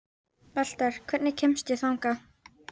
Valter, hvernig kemst ég þangað?